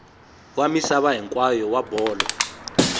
wa misava hinkwayo wa bolo